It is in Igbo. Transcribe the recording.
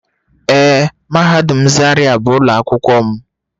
Ee mahadum zaria bu ulo akwukwo m.